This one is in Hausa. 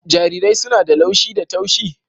Jarirai suna da laushi da taushi